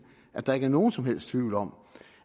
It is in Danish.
at der ikke er nogen som helst tvivl om